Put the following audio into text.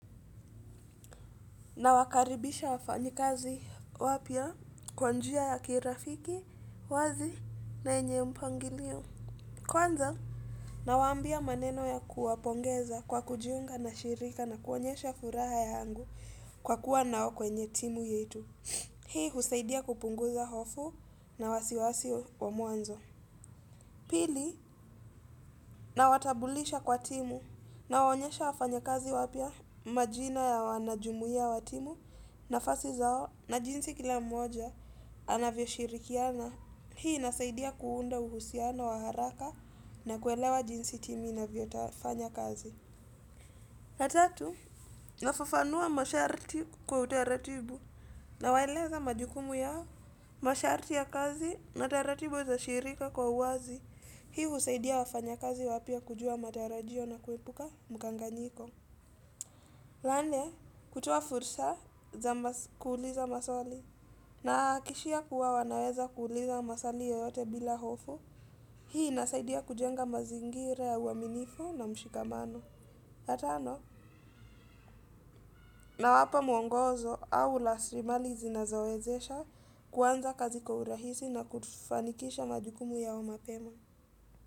Nawakaribisha wafanyikazi wapya kwa njia ya kirafiki, wazi na yenye mpangilio. Kwanza, nawaambia maneno ya kuwapongeza kwa kujiunga na shirika na kuonyesha furaha yangu kwa kuwa nao kwenye timu yetu. Hii husaidia kupunguza hofu na wasiwasi wa mwanzo. Pili, nawatabulisha kwa timu nawaonyesha wafanyakazi wapya majina ya wanajumuiya wa timu nafasi zao na jinsi kila mmoja anavyoshirikiana. Hii inasaidia kuunda uhusiano wa haraka na kuelewa jinsi timu inavyotafanya kazi. Ya tatu, nafafanua masharti kwa utaratibu nawaeleza majukumu yao masharti ya kazi na utaratibu za shirika kwa uazi. Hii usaidia wafanyakazi wapya kujua matarajio na kuepuka mkanganyiko. La nne, kutoa fursa za kuuliza maswali. Na akishia kuwa wanaweza kuuliza maswali yoyote bila hofu. Hii inasaidia kujenga mazingira ya uaminifu na mshikamano. La tano, nawapa mwongozo au lasrimali zinazowezesha kuanza kazi kwa urahisi na kufanikisha majukumu yao mapema.